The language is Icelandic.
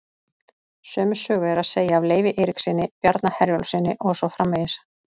Sömu sögu er að segja af Leifi Eiríkssyni, Bjarna Herjólfssyni og svo framvegis.